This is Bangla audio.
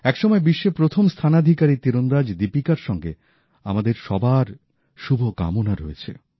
এক সময় বিশ্বের প্রথম স্থানাধিকারী তীরন্দাজ দীপিকার সঙ্গে আমাদের সবার শুভকামনা রয়েছে